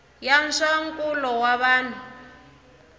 ya swa nkulo wa vanhu